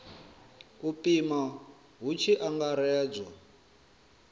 u pima hu tshi angaredzwa